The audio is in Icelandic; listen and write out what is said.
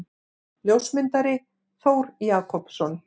Ljósmyndari: Þór Jakobsson.